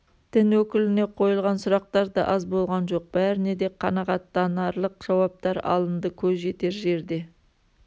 дін өкіліне қойылған сұрақтар да аз болған жоқ бәріне де қанағаттанарлық жауаптар алынды көз жетер жерде